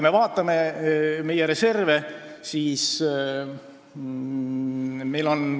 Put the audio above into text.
Vaatame meie reserve.